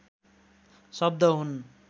शब्द हुन्